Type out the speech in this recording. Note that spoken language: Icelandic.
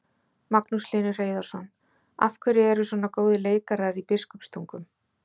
Magnús Hlynur Hreiðarsson: Af hverju eru svona góðir leikarar í Biskupstungum?